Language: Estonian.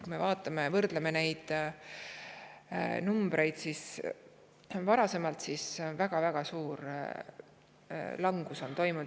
Kui võrdleme seda arvu varasemaga, siis on toimunud väga-väga suur langus.